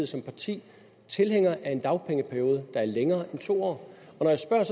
som parti tilhænger af en dagpengeperiode der er længere end to år når jeg spørger er